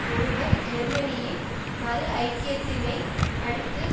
ஒருவர் ஜெர்மனியின் மறு ஐக்கியத்தினை அடுத்து